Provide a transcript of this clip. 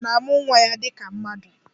Ịnyịnya na-amụ nwa ya dịka mmadụ